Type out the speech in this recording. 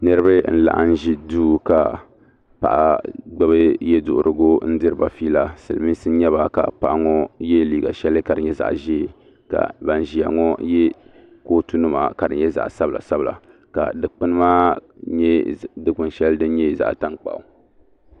niriba n-laɣim n-ʒi duu ka paɣa gbubi ye' duhirigu n-diri ba fiila silimiinsi n-nyɛ ba ka paɣa ŋɔ ye liiga shɛli ka di nyɛ zaɣ' ʒee ka ban ʒiya ŋɔ ye kootu nima ka di nyɛ zaɣ' sabila sabila ka dukpuni maa nyɛ dukpuni shɛli din nyɛ zaɣ' tankpaɣu.